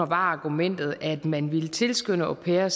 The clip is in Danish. var argumentet at man ville tilskynde au pairer